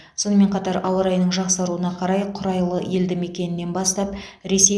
сонымен қатар ауа райының жақсаруына қарай құрайлы елдімекенінен бастап ресей